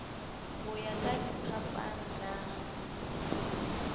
ho ya ka diphapang na